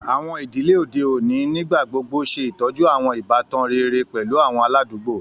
Àwọn ìdílé òde òní nígbà gbogbo ṣè tọ́jú àwọn ìbátan rere pẹ̀lú àwọn aládùúgbò.